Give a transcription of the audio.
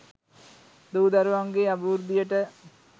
දූ දරුවන්ගේ අභිවෘද්ධියට